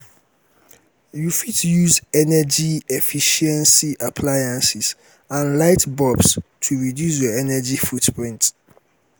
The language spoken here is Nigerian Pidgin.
you fit use energy-efficiency appliances and light bulbs to reduce your energy footprint.